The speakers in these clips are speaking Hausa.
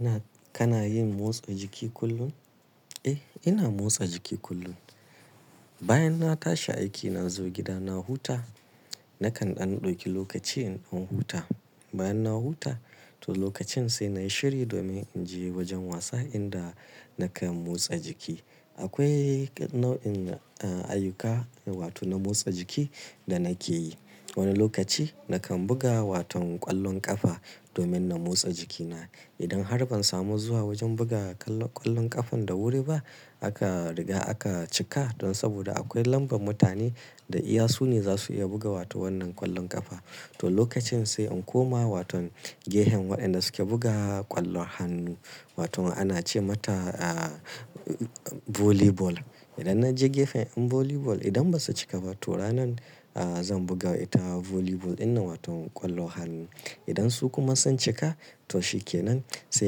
Ina kana yin motsa jiki kullum? Eh, ina motsa jiki kullum. Bayan na tashi aiki na zo gida na huta, nakan ɗauki lokaci in huta. Bayan na huta, to lokacin sai na yi shiri domin in je wajen wasa inda nakan motsa jiki. Akwai nau'in, da, ayyuka wato na motsa jiki da nake yi. Wani lokacin nakan buga waton ƙwallon ƙafa domin na motsa jikina. Idan har ban samu zuwa wajen buga ƙwallon ƙafar da wuri ba aka riga aka cika don saboda akwai lambar mutane da iya su ne za su iya buga wato wannan ƙwallon ƙafa. To lokacin sai in koma waton gefen waɗanda suke buga ƙwallon hannu wato ana ce mata, a, volleyball. Idan na je gefen in volleyball idan ba su cika ba to ranan, a, zan buga ita volleyball dinnan wato ƙwallon hannu. Idan su kuma sun cika to shikenan sai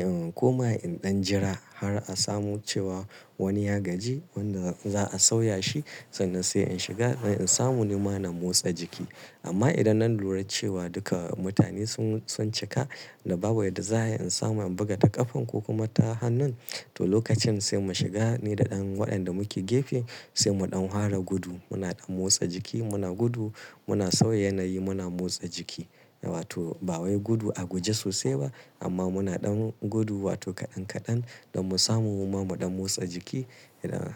in koma in ɗan jira har a samu cewa wani ya gaji wanda za a sauya shi sannan sai in shiga don in samu ni ma na motsa jiki. Amma idan na lura cewa duka mutane sun, sun cika da babu yadda za ai na samu in buga ta ƙafar ko kuma ta hannun, to lokacin sai mu shiga ni da ɗan waɗanda muke gefe sai mu ɗan fara gudu. Muna ɗan motsa jiki, muna gudu, muna sauya yanayi muna motsa jiki wato ba wai gudu a guje sosai ba amma muna ɗan gudu wato kaɗan-kaɗan don mu samu mu ma mu ɗan motsa jiki idan.